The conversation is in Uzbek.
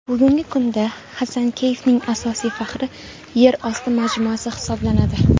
Bugungi kunda Xasankeyfning asosiy faxri yer osti majmuasi hisoblanadi.